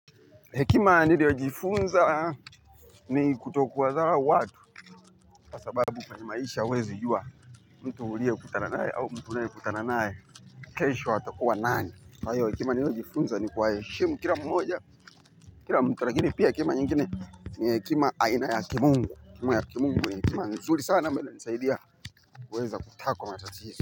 Hekima niliojifunza ni kutokuwadharau watu kwa sababu kwenye maisha huezi jua. Mtu uliyekutana naye au mtu unayekutana naye kesho atakuwa nani. Kwa hiyo hekima niliojifunza ni kuwaheshimu. Kila mmoja, kila mtu lakini pia hekima nyingine hekima aina ya kimungu hekima ya kimungu ni hekima nzuri sana ambayo inisaidia kuweza kukaa kwa matatizo.